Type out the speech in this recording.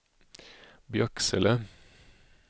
Björksele